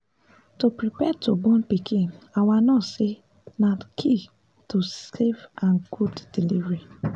to prepare to born pikin our nurse say na key to safe and good delivery